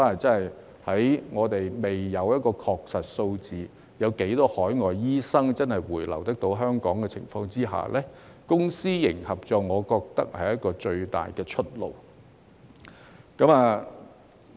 在我們未知確實有多少海外醫生會回流香港的情況下，我認為公私營合作是最大的出路。